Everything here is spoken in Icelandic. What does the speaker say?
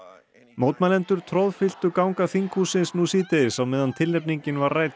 mótmælendur troðfylltu ganga þinghússins nú síðdegis á meðan tilnefningin var rædd